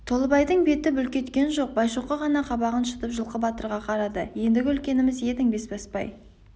толыбайдың беті бүлк еткен жоқ байшоқы ғана қабағын шытып жылқы батырға қарады ендігі үлкеніміз едің бесбасбай